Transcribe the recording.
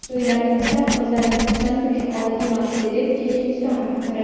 To‘ylarimizda qizlarning xursand bo‘lishi odat emas”, dedi Checheniston rahbari.